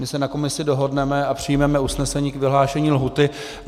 My se na komisi dohodneme a přijmeme usnesení k vyhlášení lhůty.